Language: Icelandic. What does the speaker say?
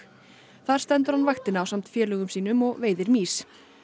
þar stendur hann vaktina ásamt félögum sínum og veiðir mýs